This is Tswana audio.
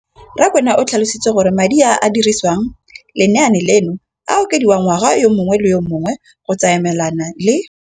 Rakwena o tlhalositse gore madi a a dirisediwang lenaane leno a okediwa ngwaga yo mongwe le yo mongwe go tsamaelana le